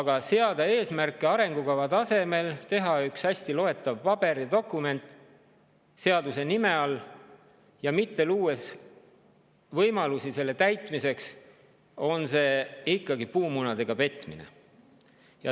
Aga kui seada eesmärke arengukava tasemel, teha üks hästi loetav paber või dokument seaduse nime all, kuid mitte luua võimalusi selle täitmiseks, siis on see ikkagi puumunadega petmine.